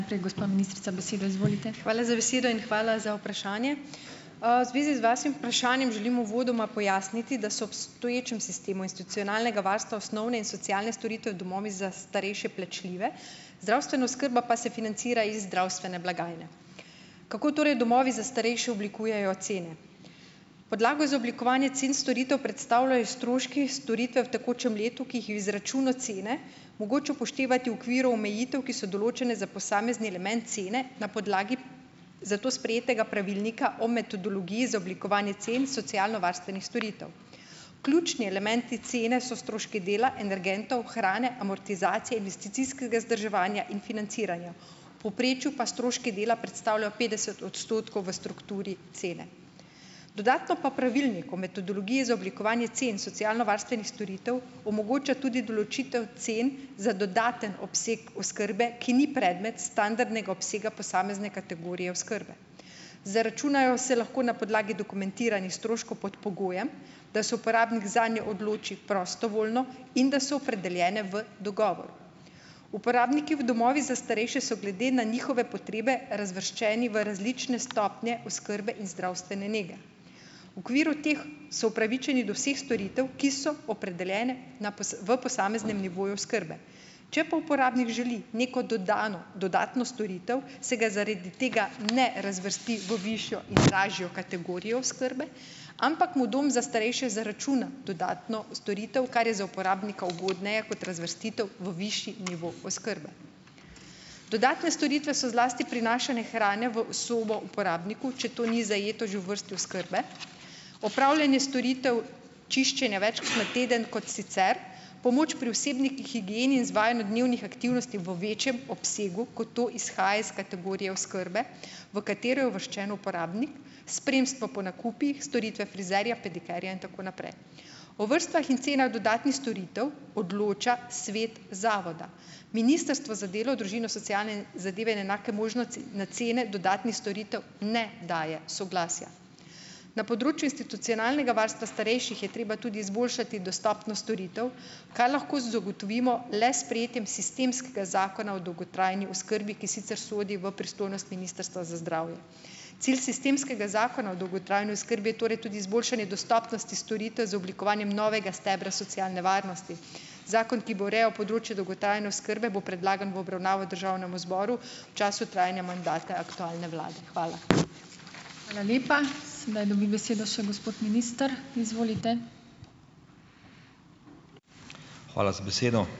Hvala z besedo in hvala za vprašanje. V zvezi z vašim vprašanjem želim uvodoma pojasniti, da so obstoječem sistemu institucionalnega varstva osnovne in socialne storitve v domovih za starejše plačljive, zdravstvena oskrba pa se financira iz zdravstvene blagajne. Kako torej domovih za starejše oblikujejo cene? Podlago za oblikovanje cen storitev predstavljajo stroški storitev v tekočem letu, ki jih v izračunu cene mogoče upoštevati v okviru omejitev, ki so določene za posamezni element cene na podlagi za to sprejetega pravilnika o metodologiji za oblikovanje cen socialnovarstvenih storitev. Ključni elementi cene so stroški dela, energentov, hrane, amortizacije, investicijskega vzdrževanja in financiranja, v povprečju pa stroški dela predstavljajo petdeset odstotkov v strukturi cene. Dodatno pa pravilnik o metodologiji za oblikovanje cen socialnovarstvenih storitev omogoča tudi določitev cen za dodaten obseg oskrbe, ki ni predmet standardnega obsega posamezne kategorije oskrbe. Zaračunajo se lahko na podlagi dokumentiranih stroškov pod pogojem, da se uporabnik zanjo odloči prostovoljno in da so opredeljene v dogovoru. Uporabniki v domovih za starejše so glede na njihove potrebe razvrščeni v različne stopnje oskrbe in zdravstvene nege. V okviru teh so opravičeni do vseh storitev, ki so opredeljene na v posameznem nivoju oskrbe. Če pa uporabnik želi neko dodano, dodatno storitev, se ga zaradi tega ne razvrsti v višjo in lažjo kategorijo oskrbe, ampak mu dom za starejše zaračuna dodatno storitev, kar je za uporabnika ugodneje kot razvrstitev v višje nivo oskrbe. Dodatne storitve so zlasti prinašanje hrane v sobo uporabniku, če to ni zajeto že v vrsti oskrbe. Opravljanje storitev, čiščenja večkrat na teden kot sicer, pomoč pri osebni higieni in izvajanju dnevnih aktivnosti v večjem obsegu, kot to izhaja iz kategorije oskrbe, v katero je uvrščen uporabnik, spremstvo po nakupih, storitve frizerja, pedikerja itn. O vrstah in cenah dodatnih storitev odloča svet zavoda. Ministrstvo za delo, družino, socialne zadeve in enake možnosti na cene dodatnih storitev ne daje soglasja. Na področju institucionalnega varstva starejših je treba tudi izboljšati dostopno storitev, kar lahko zagotovimo le s sprejetjem sistemskega zakona o dolgotrajni oskrbi, ki sicer sodi v pristojnost Ministrstva za zdravje. Cilj sistemskega zakona o dolgotrajni oskrbi je torej tudi izboljšanje dostopnosti storitev z oblikovanjem novega stebra socialne varnosti. Zakon, ki bo urejal področje dolgotrajne oskrbe, bo predlagan v obravnavo državnemu zboru v času trajanja mandata aktualne vlade. Hvala.